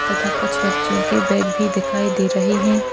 तथा कुछ बच्चो के बैग भी दिखाई दे रहे है।